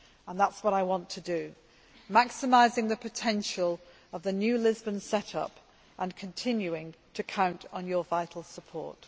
That is what I want to do, maximising the potential of the new Lisbon set up and continuing to count on your vital support.